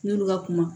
N'olu ka kuma